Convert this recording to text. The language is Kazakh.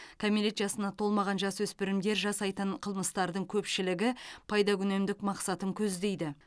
кәмелет жасына толмаған жасөспірімдер жасайтын қылмыстардың көпшілігі пайдакүнемдік мақсатын көздейді